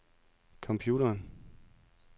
computeren